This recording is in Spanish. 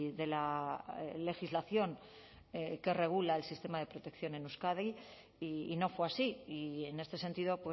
de la legislación que regula el sistema de protección en euskadi y no fue así y en este sentido